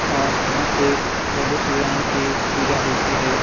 और यहां पे प्रभु श्रीराम की पूजा होती है।